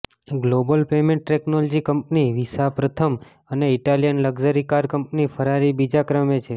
global payment technology company Visa પ્રથમ અને Italian luxury car company Ferrari બીજા ક્રમે છે